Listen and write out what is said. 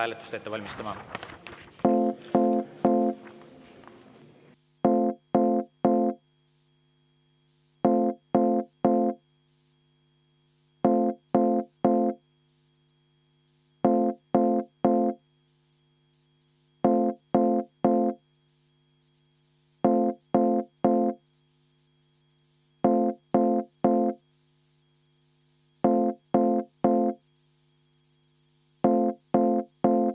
Sulgen läbirääkimised.